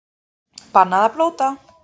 Bannað að blóta